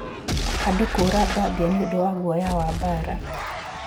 Andũ kũũra Gambia nĩ ũndũ wa guoya wa mbaara.